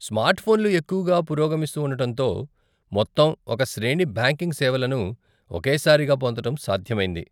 Smart ఫోన్లు ఎక్కువగా పురోగమిస్తూ ఉండటంతో, మొత్తం ఒక శ్రేణి బ్యాంకింగ్ సేవలను ఒకే సారిగా పొందటం సాధ్యమైంది.